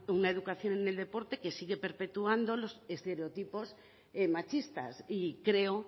una educación en el deporte que sigue perpetuando los estereotipos machistas y creo